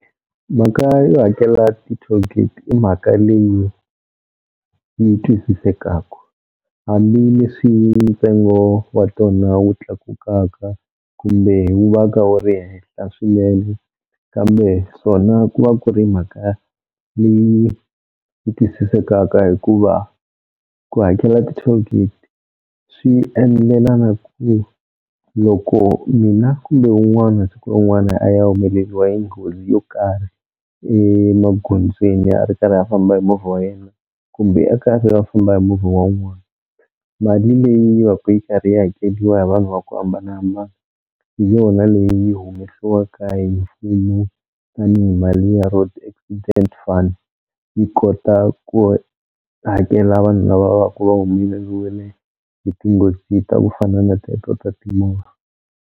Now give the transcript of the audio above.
Mhaka yo hakela ti-toll gate i mhaka leyi yi twisisekaku hambileswi ntsengo wa tona wu tlakukaka kumbe hi wu va ka wu ri henhla swinene kambe swona ku va ku ri mhaka leyi yi twisisekaka hikuva ku hakela ti-toll gate swi endlela na ku loko mina kumbe un'wana siku rin'wana a ya humeleliwa hi nghozi yo karhi emagondzweni ya ri karhi a famba hi movha wa yena kumbe a karhi va famba hi movha wa wun'wana, mali leyi va ka yi karhi yi hakeliwa hi vanhu va ku hambanahambana hi yona leyi humesiwaka hi mfumo tanihi mali ya road accident fund yi kota ku hakela vanhu lava va ku va humeleliwile hi tinghozi ta ku fana na teto ta timovha.